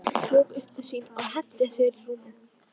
Hann ryður þessu upp úr sér.